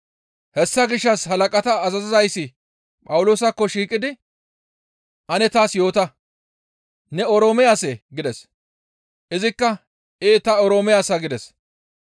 Hessa gishshas halaqata azazizayssi Phawuloosakko shiiqidi, «Ane taas yoota, ne Oroome asee?» gides; izikka, «Ee ta Oroome asa» gides.